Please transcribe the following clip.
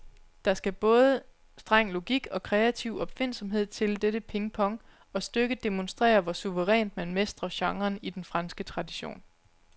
Der skal både streng logik og kreativ opfindsomhed til dette pingpong, og stykket demonstrerer, hvor suverænt man mestrer genren i den franske tradition.